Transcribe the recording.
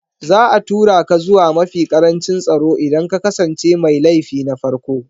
Za a tura ka zuwa mafi ƙarancin tsaro idan ka kasance mai laifi na farko